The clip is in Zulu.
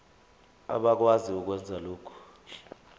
abakwazi ukwenza lokhu